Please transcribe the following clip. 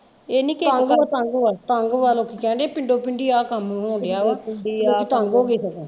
ਇਹ ਨਹੀਂ ਕਿ ਤੰਗ ਵਾ ਤੰਗ ਵਾ ਤੰਗ ਵਾ ਲੋਕੀ ਕਹਿਣ ਦੇ ਪਿੰਡੋ ਪਿੰਡੀ ਆਹ ਕੰਮ ਹੋਣ ਡੇਆ ਵਾ ਲੋਕੀ ਤੰਗ ਹੋਗੇ।